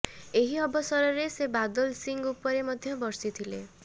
ଏହି ଅବସରରେ ସେ ବାଦଲ ସିଂହ ଉପରେ ମଧ୍ୟ ବର୍ଷିଥିଲେ